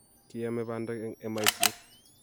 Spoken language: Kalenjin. kiyaamei bandek eng' emaisyek